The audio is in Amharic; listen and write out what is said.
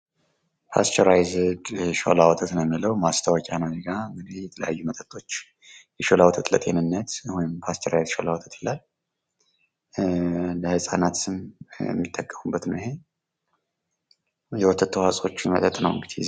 ፓስቸርአይዝድ ሾላ ወተት ነው የሚለው ማስታወቂያ ነው እዚህጋ እንግዲህ የተለያዩ መጠጦች የሾላ ወተት ለጤንነት ወይም ፓስቸርአይዝድ የሾላ ወተት ይላል። ለህፃናትም የሚጠቀሙበት ነው ይሄ የወተት ተዋጽዖዎችን መጠጥ ነው እንግዲህ።